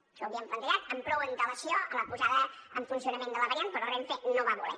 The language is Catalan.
això ho havíem plantejat amb prou antelació a la posada en funcionament de la variant però renfe no va voler